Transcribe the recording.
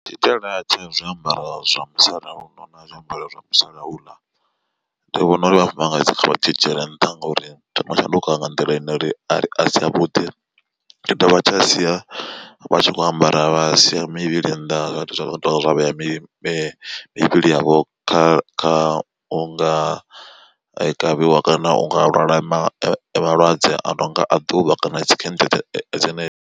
Tshitaela tsha zwiambaro zwa musalauno na zwiambaro zwa musalauḽa ndi vhona uri vhafumakadzi vha tshi dzhiele nṱha ngori tsho no shanduka nga nḓila ine uri asi avhuḓi. Tshi dovha tsha sia vha tshi khou ambara vha siya mivhili nnḓa zwa vhea mivhili yavho kha unga kavhiwa kana unga lwala malwadze a no nga a ḓuvha kana dzi khentsa dzine.